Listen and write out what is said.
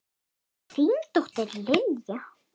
Þín dóttir, Lilja.